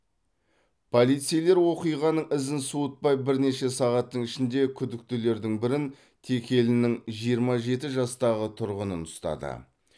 полицейлер оқиғаның ізін суытпай бірнеше сағаттың ішінде күдіктілердің бірін текелінің жиырма жеті жастағы тұрғынын ұстады